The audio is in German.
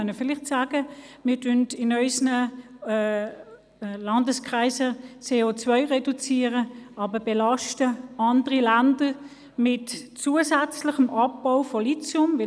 Wir können vielleicht sagen, wir würden in unseren Landeskreisen COreduzieren, belasten aber andere Länder mit zusätzlichem Abbau von Lithium.